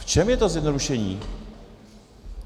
V čem je to zjednodušení?